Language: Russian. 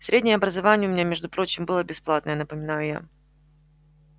среднее образование у меня между прочим было бесплатное напоминаю я